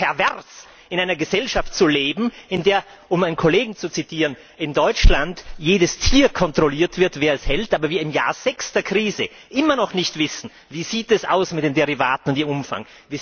Es ist doch pervers, in einer Gesellschaft zu leben, in der um einen Kollegen zu zitieren in Deutschland jedes Tier kontrolliert wird und wer es hält, aber wir im Jahr 6 der Krise immer noch nicht wissen Wie sieht es aus mit den Derivaten und ihrem Umfang?